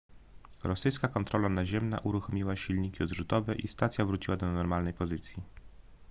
rosyjska kontrola naziemna uruchomiła silniki odrzutowe i stacja wróciła do normalnej pozycji